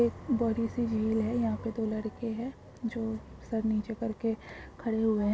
एक बड़ीसी झिल है यहा पे दो लड़के है जो सर नीचे करके खड़े हुए।